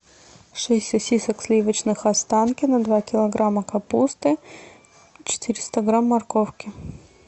шесть сосисок сливочных останкино два килограмма капусты четыреста грамм морковки